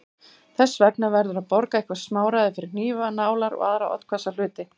Þess vegna verður að borga eitthvert smáræði fyrir hnífa, nálar og aðra oddhvassa hluti.